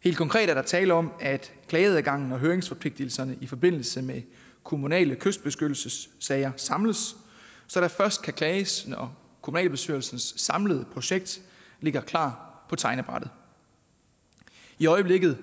helt konkret er der tale om at klageadgangen og høringsforpligtelserne i forbindelse med kommunale kystbeskyttelsessager samles så der først kan klages når kommunalbestyrelsens samlede projekt ligger klar på tegnebrættet i øjeblikket